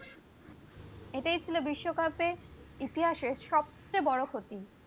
এটাই ছিল বিশ্বকাপের ইতিহাসে সবচেয়ে বড় ক্ষতি